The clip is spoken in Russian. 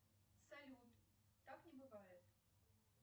салют так не бывает